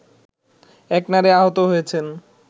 এক নারী আহত হয়েছেন